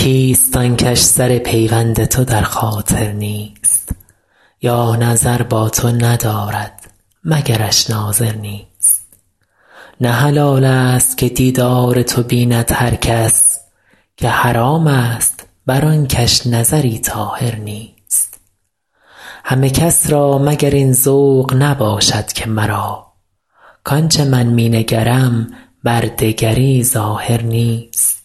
کیست آن کش سر پیوند تو در خاطر نیست یا نظر با تو ندارد مگرش ناظر نیست نه حلال ست که دیدار تو بیند هر کس که حرام ست بر آن کش نظری طاهر نیست همه کس را مگر این ذوق نباشد که مرا کآن چه من می نگرم بر دگری ظاهر نیست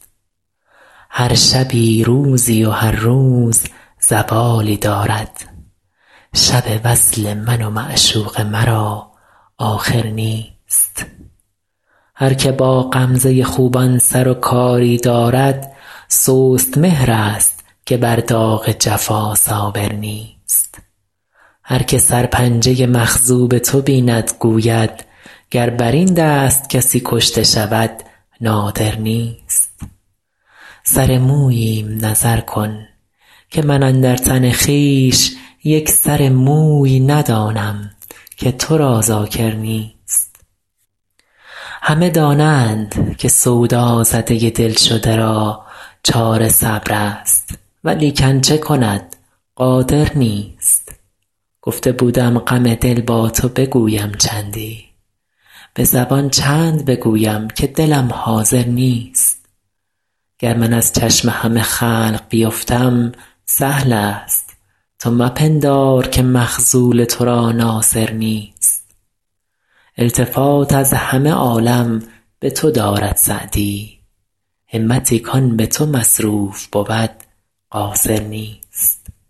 هر شبی روزی و هر روز زوالی دارد شب وصل من و معشوق مرا آخر نیست هر که با غمزه خوبان سر و کاری دارد سست مهرست که بر داغ جفا صابر نیست هر که سرپنجه مخضوب تو بیند گوید گر بر این دست کسی کشته شود نادر نیست سر موییم نظر کن که من اندر تن خویش یک سر موی ندانم که تو را ذاکر نیست همه دانند که سودازده دل شده را چاره صبرست ولیکن چه کند قادر نیست گفته بودم غم دل با تو بگویم چندی به زبان چند بگویم که دلم حاضر نیست گر من از چشم همه خلق بیفتم سهل ست تو مپندار که مخذول تو را ناصر نیست التفات از همه عالم به تو دارد سعدی همتی کآن به تو مصروف بود قاصر نیست